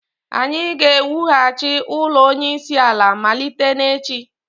anyị ga-ewughachi ụlọ onyeisiala malite n'echi